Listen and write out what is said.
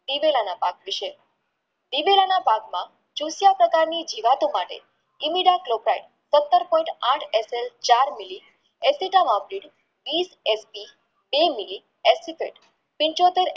ગિડેલા ના પાક વિષે ગિડેલના પાકમાં જીવતો માટે સત્તર point આઠ SI ચાર mili એસિટન આપ્યું વિસ ST બે mili એસિટન